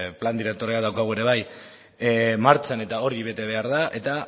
plan direktorea daukagu ere bai martxan eta hori bete behar da eta